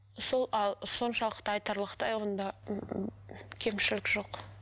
сол ал соншалықты айтарлықтай онда кемшілік жоқ